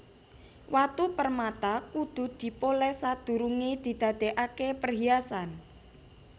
Watu permata kudu dipolès sadurungé didadèkaké perhiasan